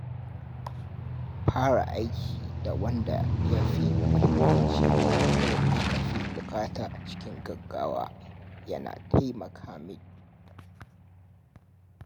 Fara aiki da wanda ya fi muhimmanci ko aka fi buƙata cikin gaggawa yana taimaka min.